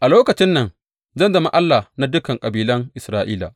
A lokacin nan, zan zama Allah na dukan kabilan Isra’ila,